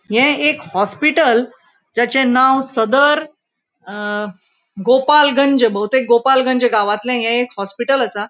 हे एक हॉस्पिटल जाचे नाव सदर अ गोपलगंज बहुतेक गोपलगंज गावातले हे एक हॉस्पिटल आसा.